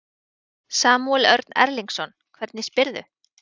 Samúel Örn Erlingsson, hvernig spyrðu?